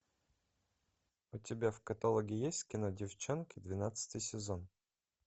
у тебя в каталоге есть кино деффчонки двенадцатый сезон